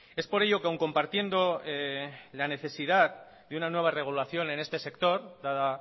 es por ello que aun compartiendo la necesidad de una nueva regulación en este sector dada